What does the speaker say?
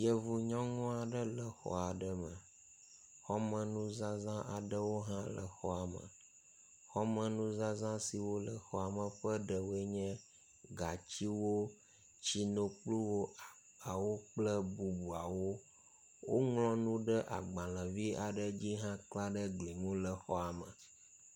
Yevu nyɔnu ae le xɔ aɖe me, xɔme nuzaza aɖewo le xɔa me. Xɔme nuzaza siwo le xɔame ƒe ɖewoe nye gatiwo, tsinokpluwo agbawo kple bubuawo. Wŋlɔnu ɖe agbalẽvi aɖe dzi ekla ɖe eglia ŋu le xɔame.